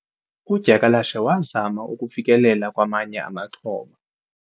udyakalashe wazama ukufikelela kwamanye amaxhoba